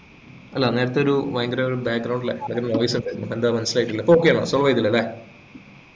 അല്ല നേരത്തെ ഒരു ഭയങ്കര ഒരു ലെ ഭയങ്കര noise ഉണ്ടായി എന്താ മനസ്സിലായില്ല ഇപ്പോ okay ആണോ solve